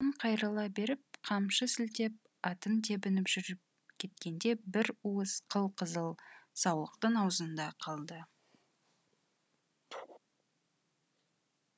қайрыла беріп қамшы сілтеп атын тебініп жүріп кеткенде бір уыс қыл қызыл саулықтың аузында қалды